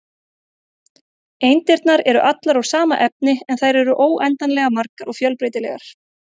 Eindirnar eru allar úr sama efni, en þær eru óendanlega margar og fjölbreytilegar.